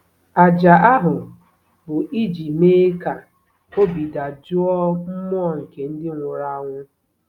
Àjà ahụ bụ iji mee ka obi dajụọ mmụọ nke ndị nwụrụ anwụ.